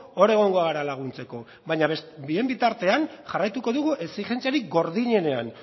hor egongo gara laguntzeko baina bien bitartean jarraituko dugu exijentziarik gordinenean